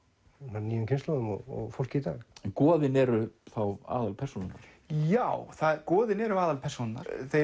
nýjum kynslóðum og fólki í dag en goðin eru þá aðalpersónurnar já goðin eru aðalpersónurnar þeir